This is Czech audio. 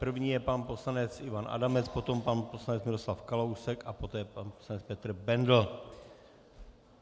První je pan poslanec Ivan Adamec, potom pan poslanec Miroslav Kalousek a poté pan poslanec Petr Bendl.